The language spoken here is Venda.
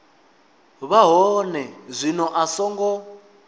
vha hone zwino a songo